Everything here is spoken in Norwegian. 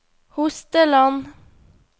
Hosteland